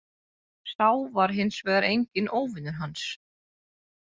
Sá var hins vegar enginn óvinur hans.